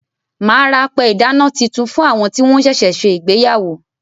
Màá ra apẹ ìdáná titun fún àwọn tí wọ́n sẹ̀sẹ̀ se ìgbéyàwó.